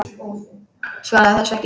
Svaraði þessu ekki.